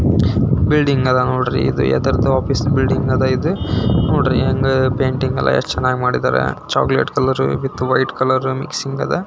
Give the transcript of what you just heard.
building ಇದೆ ನೋಡಿ ಎದುರದೋ ಆಫೀಸ್ ಬಿಲ್ಡಿಂಗ್ ಅದೇ ಇದು ನೋಡ್ರಿ ಪೈಂಟೀಂಗ್ ಎಲ್ಲ ಎಷ್ಟು ಚೆನ್ನಾಗಿ ಮಾಡಿದ್ದಾರೆ chocolate colour with white colour mixing ಇದೆ--